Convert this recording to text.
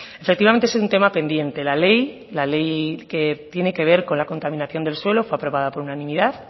efectivamente es un tema pendiente la ley la ley que tiene que ver con la contaminación del suelo fue aprobada por unanimidad